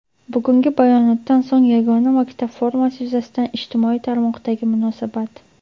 Bugungi bayonotdan so‘ng yagona maktab formasi yuzasidan ijtimoiy tarmoqdagi munosabat.